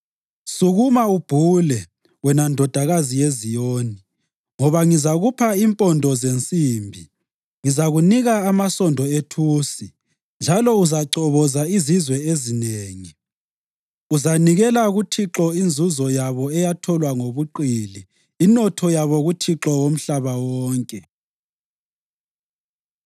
“Sukuma ubhule, wena Ndodakazi yeZiyoni, ngoba ngizakupha impondo zensimbi; ngizakunika amasondo ethusi, njalo uzachoboza izizwe ezinengi.” Uzanikela kuThixo inzuzo yabo eyatholwa ngobuqili inotho yabo kuThixo womhlaba wonke.